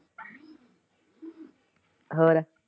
ਹੋਰ?